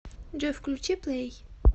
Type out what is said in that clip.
джой включи плэй